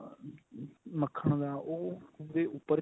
ਮੱਖਣ ਦਾ ਉਹ ਉਹਦੇ ਉੱਪਰ